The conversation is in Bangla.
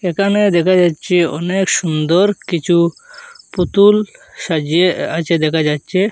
এখানে দেখা যাচ্চে অনেক সুন্দর কিছু পুতুল সাজিয়ে আ-আছে দেখা যাচ্চে ।